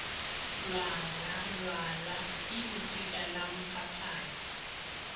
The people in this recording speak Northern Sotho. lwala lwala ke leswika lamphaphathi